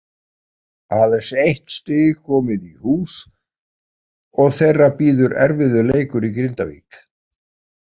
Aðeins eitt stig komið í hús og þeirra bíður erfiður leikur í Grindavík.